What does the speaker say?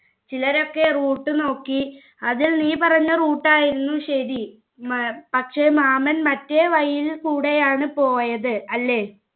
ചിലരൊക്കെ root നോക്കി ആദ്യം നീ പറഞ്ഞ root ആയിരുന്നു ശരി